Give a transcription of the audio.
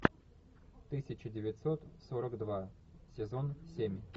тысяча девятьсот сорок два сезон семь